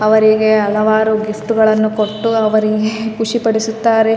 ಈ ಚಿತ್ರ ನೋಡಬಹುದಾದರೆ ಇಲ್ಲಿ ಒಂದು ವಿವಾಹ ನಡಿತಾ ಇದೆ ಇಲ್ಲಿ ತುಂಬಾತರದ ಹುವಿನಿಂದ ಅಲಂಕರಿಸಿದ್ದಾರೆ.